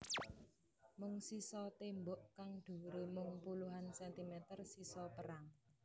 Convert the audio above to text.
Mung sisa tembok kang dhuwure mung puluhan sentimeter sisa perang